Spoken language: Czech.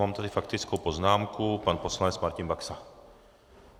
Mám tady faktickou poznámku, pan poslanec Martin Baxa.